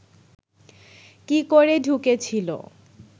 কি করে ঢুকেছিল